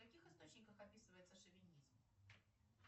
в каких источниках описывается шовинизм